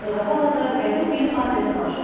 Zaqatalada qədim bir adət var.